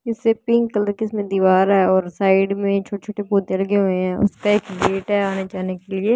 इससे pink colour की इसमें दीवार है और साइड में छोटे-छोटे पौधे लगे हुए हैं उसका एक गेट है आने जाने के।